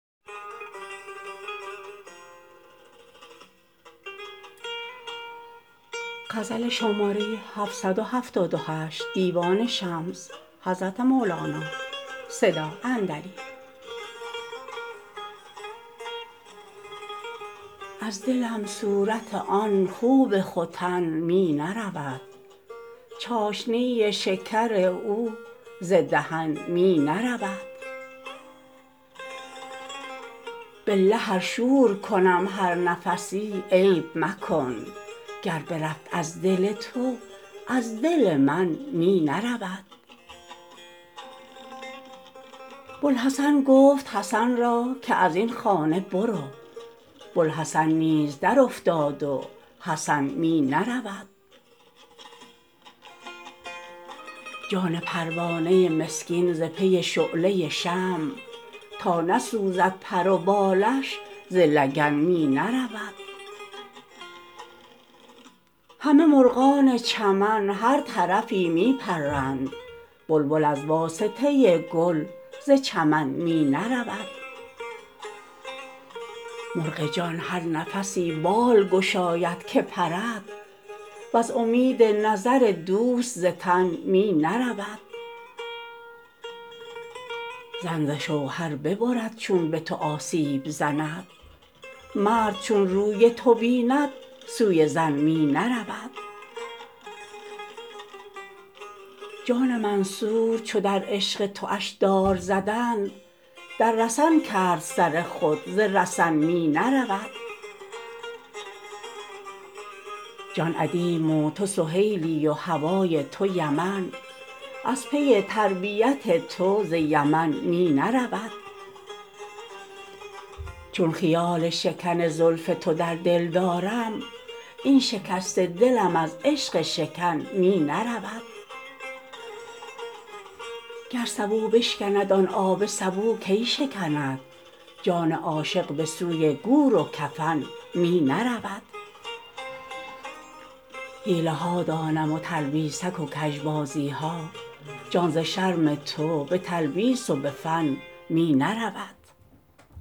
از دلم صورت آن خوب ختن می نرود چاشنی شکر او ز دهن می نرود بالله ار شور کنم هر نفسی عیب مکن گر برفت از دل تو از دل من می نرود بوالحسن گفت حسن را که از این خانه برو بوالحسن نیز درافتاد و حسن می نرود جان پروانه مسکین ز پی شعله شمع تا نسوزد پر و بالش ز لگن می نرود همه مرغان چمن هر طرفی می پرند بلبل از واسطه گل ز چمن می نرود مرغ جان هر نفسی بال گشاید که پرد وز امید نظر دوست ز تن می نرود زن ز شوهر ببرد چون به تو آسیب زند مرد چون روی تو بیند سوی زن می نرود جان منصور چو در عشق توش دار زدند در رسن کرد سر خود ز رسن می نرود جان ادیم و تو سهیلی و هوای تو یمن از پی تربیت تو ز یمن می نرود چون خیال شکن زلف تو در دل دارم این شکسته دلم از عشق شکن می نرود گر سبو بشکند آن آب سبو کی شکند جان عاشق به سوی گور و کفن می نرود حیله ها دانم و تلبیسک و کژبازی ها جان ز شرم تو به تلبیس و به فن می نرود